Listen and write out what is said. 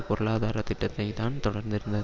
பொருளாதார திட்டத்தை தான் தொடர்ந்திருந்தது